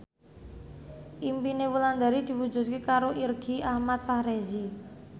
impine Wulandari diwujudke karo Irgi Ahmad Fahrezi